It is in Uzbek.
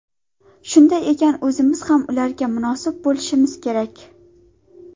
Shunday ekan, o‘zimiz ham ularga munosib bo‘lishimiz kerak.